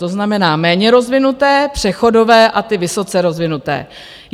To znamená méně rozvinuté, přechodové a ty vysoce rozvinuté.